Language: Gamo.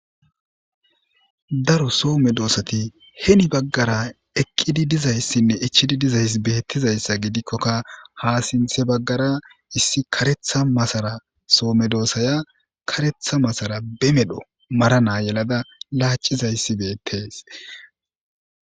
Daro so medosata heni bagara eqidi dizaysine ichidi dizysi betizaysa gidikoka ha sinthe bagara issi karetha masara so medosaya karetha masara be mala yelada lacizaysi betes